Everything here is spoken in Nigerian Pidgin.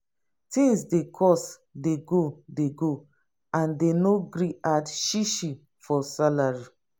tins dey cost dey go dey go and dey no gree add shishi for salary.